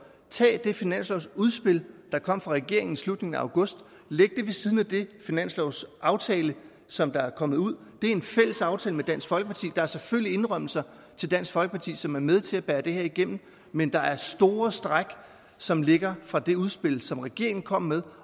tag det finanslovsudspil der kom fra regeringen i slutningen af august læg det ved siden af den finanslovsaftale som er kommet ud det er en fælles aftale med dansk folkeparti der er selvfølgelig indrømmelser til dansk folkeparti som er med til at bære det her igennem men der er store stræk som ligger fra det udspil som regeringen kom med